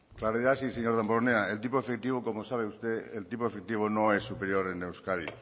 claridad sí señor damborenea el tipo efectivo como sabe usted el tipo efectivo no es superior en euskadi